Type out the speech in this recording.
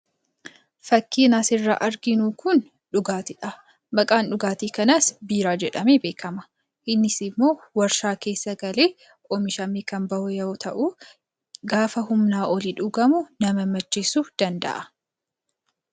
Fakkiin asirraa arginu kun dhugaatiidha. Maqaan dhugaatii kanaas biiraa jedhamee beekama. Innis immoo warshaa keessa galee oomishamee kan bahu yoo ta’u, gaafa humnaa ol dhugamu nama macheessuu danda’a.